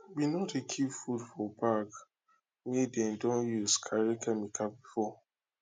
we no dey keep food for bag wey dem don use carry chemical before